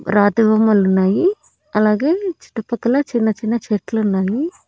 రాతి బొమ్మలు ఉన్నాయి అలాగే చుట్టుపక్కల చిన్న చిన్న చెట్లు ఉన్నాయి.